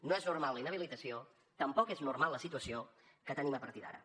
no és normal la inhabilitació tampoc és normal la situació que tenim a partir d’ara